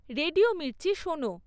radio Mirchi শোনো